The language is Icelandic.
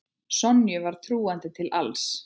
Sonju var trúandi til alls.